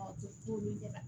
Ɔ t'olu ɲɛna